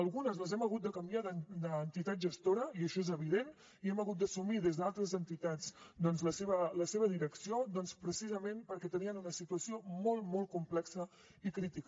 algunes les hem hagut de canviar d’entitat gestora i això és evident i hem hagut d’assumir des d’altres entitats doncs la seva la seva direcció precisament perquè tenien una situació molt molt complexa i crítica